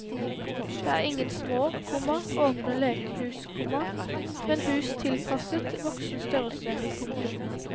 Dette er ingen små, komma åpne lekehus, komma men hus tilpasset voksen størrelse. punktum